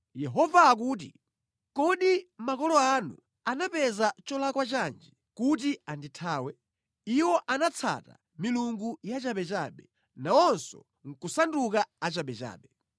Yehova akuti, “Kodi makolo anu anandipeza nʼcholakwa chanji, kuti andithawe? Iwo anatsata milungu yachabechabe, nawonso nʼkusanduka achabechabe.